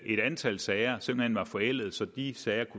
et antal sager simpelt hen var forældede så de sager